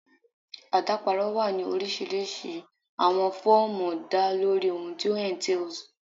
Adaparọ wa ni orisirisi awọn fọọmu da lori ohun ti o entails